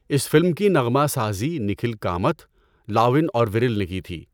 اس فلم کی نغمہ سازی نکھل کامتھ، لاون اور ویرل نے کی تھی۔